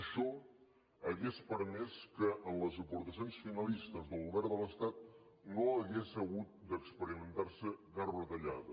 això hauria permès que en les aportacions finalistes del govern de l’estat no hagués hagut d’experimentar se cap retallada